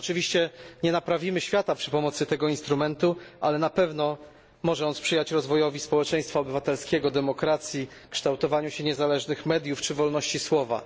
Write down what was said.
Oczywiście nie naprawimy świata przy pomocy tego instrumentu, ale na pewno może on sprzyjać rozwojowi społeczeństwa obywatelskiego, demokracji, kształtowaniu się niezależnych mediów czy wolności słowa.